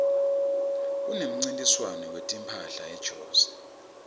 kunemncintiswano wetimphahla ejozi